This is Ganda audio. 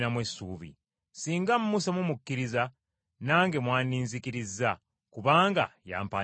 Singa Musa mumukkiriza, nange mwandinzikirizza, kubanga yampandiikako.